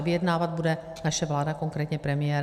A vyjednávat bude naše vláda, konkrétně premiér.